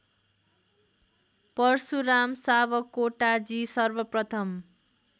पर्शुराम सावकोटाजी सर्वप्रथम